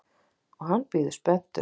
Og hann bíður spenntur.